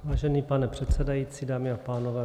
Vážený pane předsedající, dámy a pánové.